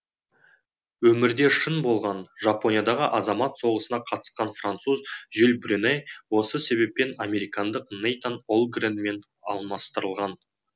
өмірде шын болған жапониядағы азамат соғысына қатысқан француз жюль брюне осы себеппен американдық нэйтан олгрэнмен алмастырылған